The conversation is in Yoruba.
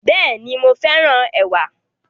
Bẹ́ẹ̀ni, mo féràn ẹ̀wà